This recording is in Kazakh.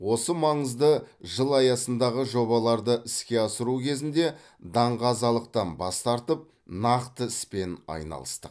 осы маңызды жыл аясындағы жобаларды іске асыру кезінде даңғазалықтан бас тартып нақты іспен айналыстық